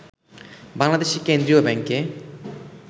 বাংলাদেশের কেন্দ্রীয় ব্যাংকে